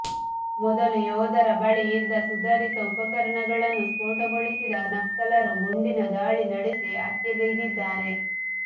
ಮೊದಲು ಯೋಧರ ಬಳಿ ಇದ್ದ ಸುಧಾರಿತ ಉಪಕರಣಗಳನ್ನು ಸ್ಫೋಟಗೊಳಿಸಿದ ನಕ್ಸಲರು ಗುಂಡಿನ ದಾಳಿ ನಡೆಸಿ ಹತ್ಯೆಗೈದಿದ್ದಾರೆ